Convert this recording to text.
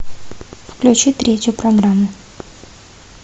включи третью программу